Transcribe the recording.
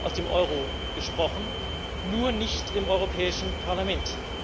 aus dem Euro gesprochen nur nicht im Europäischen Parlament.